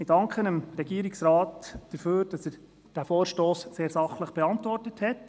Ich danke dem Regierungsrat dafür, dass er diesen Vorstoss sehr sachlich beantwortet hat.